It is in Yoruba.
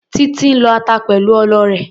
Títí ń lọ ata pẹ̀lú ọlọ rẹ̀.